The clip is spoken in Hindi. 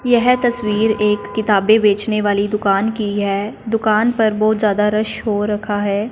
यह तस्वीर एक किताबें बेचने वाली दुकान की है दुकान पर बहोत ज्यादा रश हो रखा है।